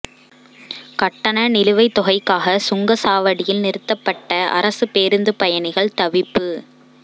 கட்டண நிலுவைத் தொகைக்காக சுங்கச் சாவடியில் நிறுத்தப்பட்ட அரசுப் பேருந்து பயணிகள் தவிப்பு